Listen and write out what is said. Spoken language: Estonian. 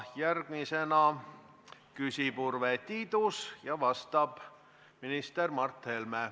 Järgmisena küsib Urve Tiidus ja vastab minister Mart Helme.